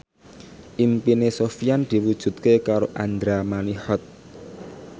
impine Sofyan diwujudke karo Andra Manihot